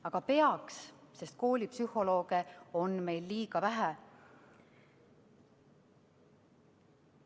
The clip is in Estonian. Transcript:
Aga peaks, sest koolipsühholooge on meil liiga vähe.